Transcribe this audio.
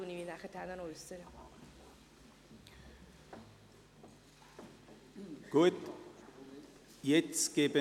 Ich gebe das Wort den Antragsstellern, zuerst Grossrat Saxer zur Begründung der ersten Planungserklärung.